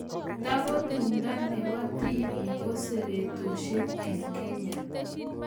Tako tumndo nepo tipik ko seretoshek en Kenya